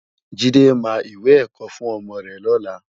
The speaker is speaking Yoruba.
Jide má iwé èkò fún òmò rè lòlá